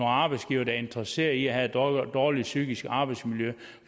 arbejdsgivere der er interesseret i at have et dårligt psykisk arbejdsmiljø